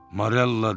Marella!